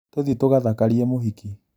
Tũthiĩ tũgathakarie mũhiki